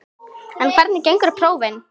En hvernig gengu prófin?